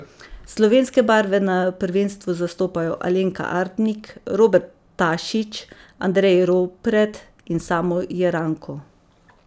Slovenske barve na prvenstvu zastopajo Alenka Artnik, Robert Tašič, Andrej Ropret in Samo Jeranko.